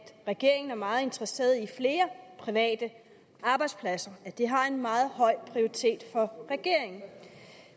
regeringen er meget interesseret i flere private arbejdspladser at det har en meget høj prioritet for regeringen